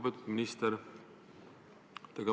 Lugupeetud minister!